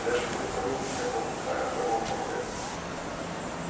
Ele é absolutamente incapacitado, analfabeto.